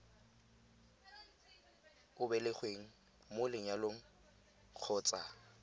o belegweng mo lenyalong kgotsa